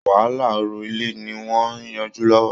Wàhálà ọ̀rọ̀ ilẹ̀ ni wọn ń yanjú lọ́wọ́